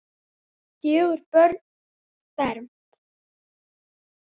Fjögur börn fermd.